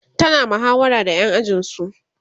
tana muhawara da ƴan ajinsu